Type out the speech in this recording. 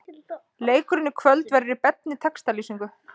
Leikurinn í kvöld verður í beinni textalýsingu.